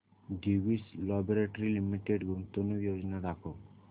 Divi's laboratories limited गुंतवणूक योजना दाखव